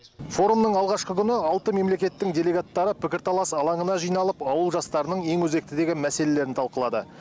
форумның алғашқы күні алты мемлекеттің делегаттары пікірталас алаңына жиналып ауыл жастарының ең өзекті деген мәселелерін талқылады